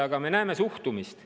Aga me näeme seda suhtumist.